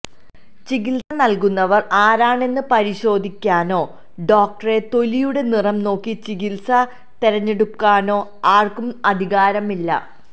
ചികിത്സ നല്കുന്നവര് ആരാണെന്ന് പരിശോധിക്കാനോ ഡോക്ടറെ തൊലിയുടെ നിറം നോക്കി ചികിത്സ തിരഞ്ഞെടുക്കാനോ ആര്ക്കും അധികാരമില്ല